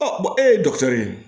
e ye ye